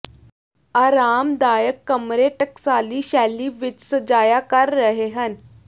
ਆਰਾਮਦਾਇਕ ਕਮਰੇ ਟਕਸਾਲੀ ਸ਼ੈਲੀ ਵਿੱਚ ਸਜਾਇਆ ਕਰ ਰਹੇ ਹਨ